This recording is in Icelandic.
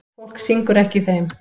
Fólk syngur ekki í þeim.